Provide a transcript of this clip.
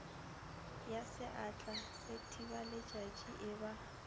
ya seatla sethibaletšatši e ba